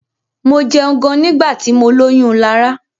Mo jẹun gan nígbà tí mọ lóyún Lará.